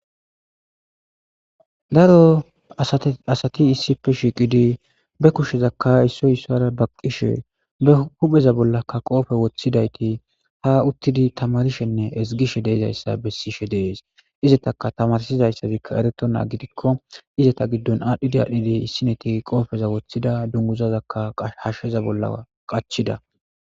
Daro asati issippe shiqidi be kushezaka issoy issara baqishe be hupheza bollaka qope wothidayti ha uttidi tamarishene ezgishe dizaysa ha misiley odes izataka tamarsizaysi eretonta gidiko Izeta gidon adhidi adhidi issinoti issinoti qopa wothida ha dunguzazaka hasheza bolla qachida